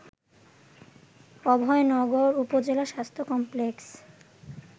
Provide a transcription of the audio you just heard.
অভয়নগর উপজেলা স্বাস্থ্য কমপ্লেক্সে